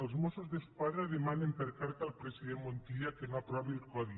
els mossos d’esquadra demanen per carta al president montilla que no aprovi el codi